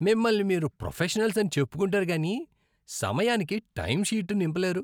మిమ్మల్ని మీరు ప్రొఫెషనల్స్ అని చెప్పుకుంటారు కానీ సమయానికి టైమ్షీట్ నింపలేరు.